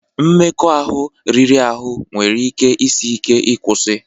Mmekọahụ ahụ riri ahụ nwere ike isi ike ịkwụsị